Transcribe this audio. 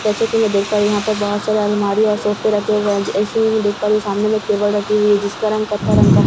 जैसा कि मैं देख पा रही हूं यहां पर बहुत सारे अलमारी और सोफे रखे हुए हैं ऐसे देख पा रही हूं सामने में एक टेबल रखी हुई है जिसका रंग कथा रंग का--